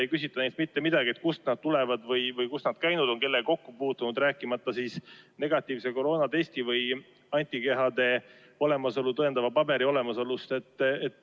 Ei küsita neilt mitte midagi, kust nad tulevad või kus nad on käinud ja kellega kokku puutunud, rääkimata negatiivsest koroonatestist või antikehade olemasolu tõendavast paberist.